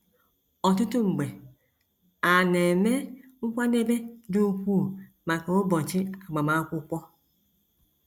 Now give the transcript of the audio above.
Ọtụtụ mgbe, a na - eme nkwadebe dị ukwuu maka ụbọchị agbamakwụkwọ.